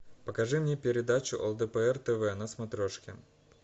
покажи мне передачу лдпр тв на смотрешке